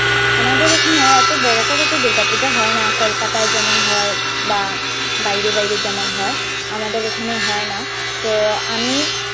আমাদের এখানে এতো বড়ো করে তো দূর্গাপূজা হয় না কলকাতায় যেমন হয় বা বাইরে বাইরে যেমন হয় আমাদের এখানে হয় না তো আমি।